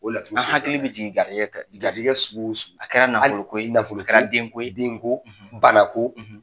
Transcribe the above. O laturu an hakili bɛ jigin garijɛgɛ garijɛgɛ sugu o sugu a kɛra nafolo ko ye nafolo ko denko denko bana ko.